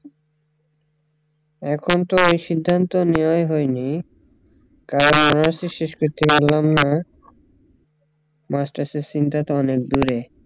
এখন তো ওই সিদ্ধান্ত নেওয়াই হয়নি কারণ honours ই শেষ করতে পারলাম না masters এর seen টা তো অনেক দূরে